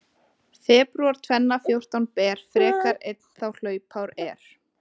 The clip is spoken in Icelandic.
Febrúar tvenna fjórtán ber, frekar einn þá hlaupár er.